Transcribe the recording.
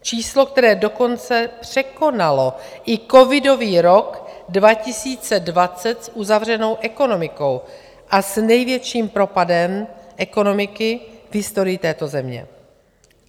Číslo, které dokonce překonalo i covidový rok 2020 s uzavřenou ekonomikou a s největším propadem ekonomiky v historii této země.